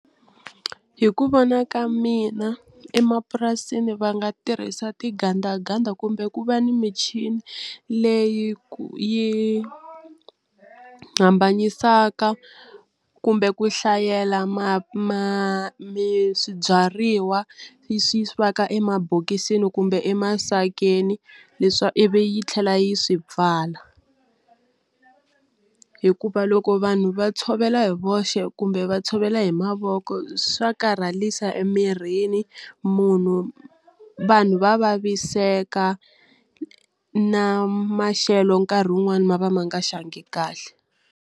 Hi ku vona ka mina emapurasini va nga tirhisa tingandaganda kumbe ku va ni michini leyi ku yi hambanyisaka kumbe ku hlayela ma ma mi swibyariwa swi va ka mabokisini kumbe emasakeni leswa ivi yi tlhela yi swi pfala hikuva loko vanhu va tshovela hi voxe kumbe va tshovela hi mavoko swa karhalisa emirini munhu vanhu va vaviseka na maxelo nkarhi wun'wani ma va ma nga xangi kahle.